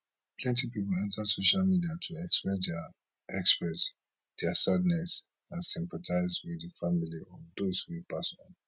plenty pipo enta social media to express dia express dia sadness and sympathise wit di families of dose wey pass on